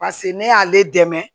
pase ne y'ale dɛmɛ